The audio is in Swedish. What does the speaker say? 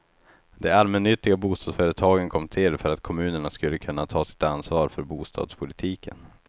De allmännyttiga bostadsföretagen kom till för att kommunerna skulle kunna ta sitt ansvar för bostadspolitiken.